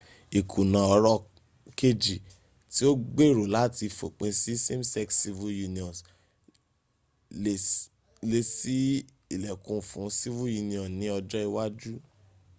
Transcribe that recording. ìkùnà ọ̀rọ̀ kejì tí ó gbèrò láti fòpin sí same sex civil unions lè ṣí ìlẹ́kùn fún civil union ní ọjọ ìwájú